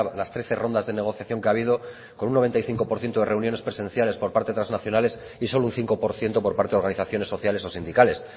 las trece rondas de negociación que ha habido con un noventa y cinco por ciento de reuniones presenciales por parte de transnacionales y solo un cinco por ciento por parte de organizaciones sociales o sindicales